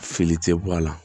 Fili tɛ bɔ a la